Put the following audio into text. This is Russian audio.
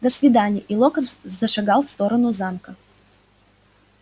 до свидания и локонс зашагал в сторону замка